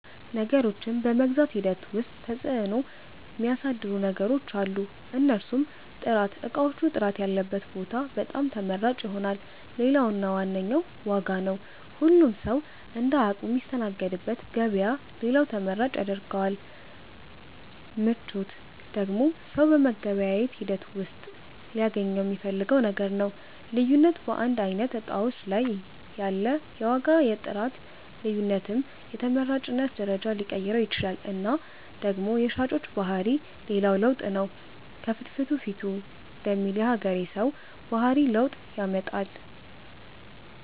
ነገሮችን በመግዛት ሂደት ዉስጥ ተፅዕኖ ሚያሣድሩ ነገሮች አሉ። እነርሡም፦ ጥራት እቃዎቹ ጥራት ያለበት ቦታ በጣም ተመራጭ ይሆናል። ሌላው እና ዋነኛው ዋጋ ነው ሁሉም ሠዉ እንደ አቅሙ ሚስተናገድበት ገበያ ሌላው ተመራጭ ያስደርገዋል። ምቾት ደግሞ ሠው በመገበያየት ሂደት ውሥጥ ሊያገኘው ሚፈልገው ነገር ነው። ልዩነት በአንድ አይነት እቃዎች ላይ ያለ የዋጋ የጥራት ልዮነትም የተመራጭነትን ደረጃ ሊቀይረው ይችላል እና ደግሞ የሻጮች ባህሪ ሌላው ለውጥ ነው ከፍትፊቱ ፊቱ ደሚል የሀገሬ ሠው ባህሪ ለውጥ ያመጣል።